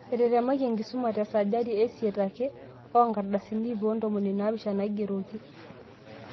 Etetemaki enkisuma tesajati eisiet ake oonkardasini ip ontomoni naapishana naigeroki.